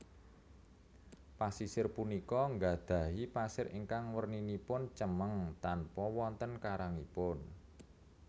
Pasisir punika nggadhahi pasir ingkang werninipun cemeng tanpa wonten karangipun